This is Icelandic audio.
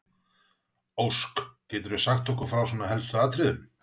Ósk, geturðu sagt okkur frá svona helstu atriðum?